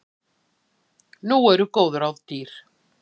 Nú eru góð ráð dýr!